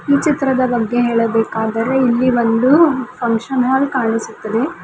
ಈ ಚಿತ್ರದ ಬಗ್ಗೆ ಹೇಳಬೇಕಾದರೆ ಇಲ್ಲಿ ಒಂದು ಫಂಕ್ಷನ್ ಹಾಲ್ ಕಾಣಿಸುತ್ತದೆ.